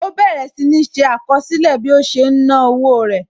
Ó bẹ̀rẹ̀ sì ní ṣé àkọsílẹ̀ bí ó ṣe ń náwó rẹ̀